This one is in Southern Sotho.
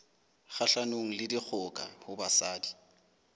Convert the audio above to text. kgahlanong le dikgoka ho basadi